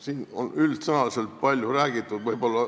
Siin on üldsõnaliselt palju räägitud.